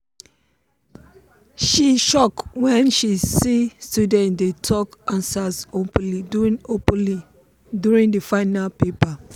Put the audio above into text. she shock when she see students dey talk answers openly during openly during the final paper.